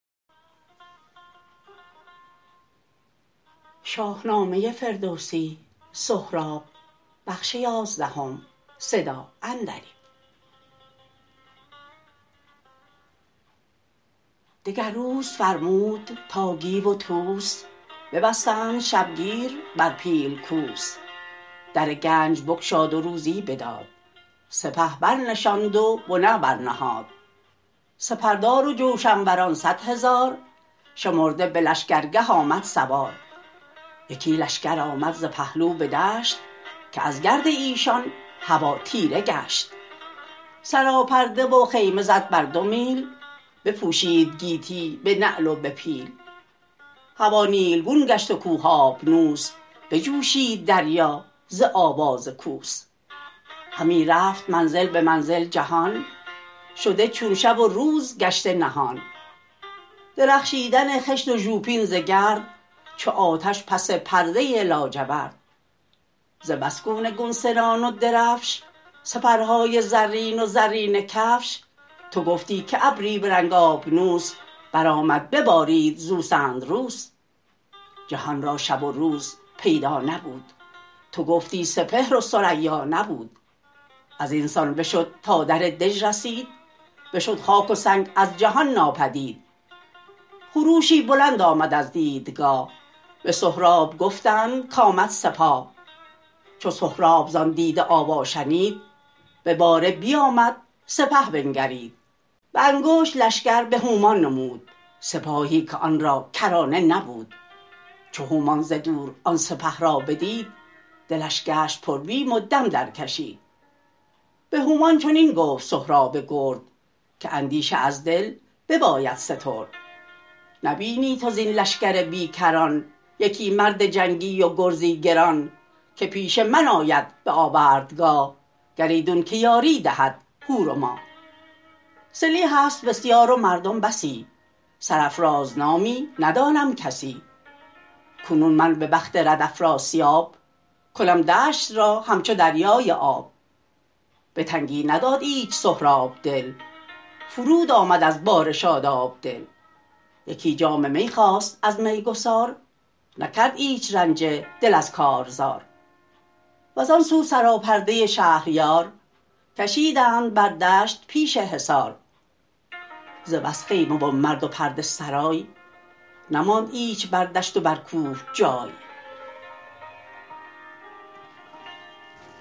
دگر روز فرمود تا گیو و طوس ببستند شبگیر بر پیل کوس در گنج بگشاد و روزی بداد سپه برنشاند و بنه برنهاد سپردار و جوشنوران صد هزار شمرده به لشکر گه آمد سوار یکی لشکر آمد ز پهلو به دشت که از گرد ایشان هوا تیره گشت سراپرده و خیمه زد بر دو میل بپوشید گیتی به نعل و به پیل هوا نیلگون گشت و کوه آبنوس بجوشید دریا ز آواز کوس همی رفت منزل به منزل جهان شده چون شب و روز گشته نهان درخشیدن خشت و ژوپین ز گرد چو آتش پس پرده لاجورد ز بس گونه گونه سنان و درفش سپرهای زرین و زرینه کفش تو گفتی که ابری به رنگ آبنوس برآمد ببارید زو سندروس جهان را شب و روز پیدا نبود تو گفتی سپهر و ثریا نبود ازینسان بشد تا در دژ رسید بشد خاک و سنگ از جهان ناپدید خروشی بلند آمد از دیدگاه به سهراب گفتند کامد سپاه چو سهراب زان دیده آوا شنید به باره بیامد سپه بنگرید به انگشت لشکر به هومان نمود سپاهی که آن را کرانه نبود چو هومان ز دور آن سپه را بدید دلش گشت پربیم و دم درکشید به هومان چنین گفت سهراب گرد که اندیشه از دل بباید سترد نبینی تو زین لشکر بیکران یکی مرد جنگی و گرزی گران که پیش من آید به آوردگاه گر ایدون که یاری دهد هور و ماه سلیح ست بسیار و مردم بسی سرافراز نامی ندانم کسی کنون من به بخت رد افراسیاب کنم دشت را همچو دریای آب به تنگی نداد ایچ سهراب دل فرود آمد از باره شاداب دل یکی جام می خواست از می گسار نکرد ایچ رنجه دل از کارزار وزانسو سراپرده شهریار کشیدند بر دشت پیش حصار ز بس خیمه و مرد و پرده سرای نماند ایچ بر دشت و بر کوه جای